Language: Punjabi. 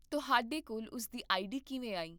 ਤੁਹਾਡੇ ਕੋਲ ਉਸ ਦੀ ਆਈਡੀ ਕਿਵੇਂ ਆਈ?